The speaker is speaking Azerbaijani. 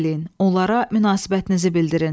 Onlara münasibətinizi bildirin.